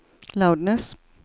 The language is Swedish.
loudness